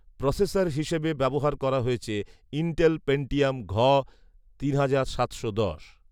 processor হিসেবে ব্যবহার করা হয়েছে ইন্টেল পেন্টিয়াম ঘ তিন হাজার সাতশো দশ